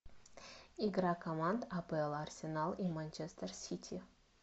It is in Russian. игра команд апл арсенал и манчестер сити